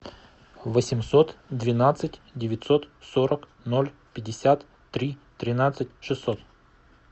восемьсот двенадцать девятьсот сорок ноль пятьдесят три тринадцать шестьсот